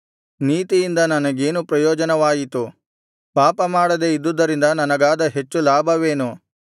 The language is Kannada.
ನೀತಿಯಿಂದ ನನಗೇನು ಪ್ರಯೋಜನವಾಯಿತು ಪಾಪಮಾಡದೆ ಇದ್ದುದರಿಂದ ನನಗಾದ ಹೆಚ್ಚು ಲಾಭವೇನು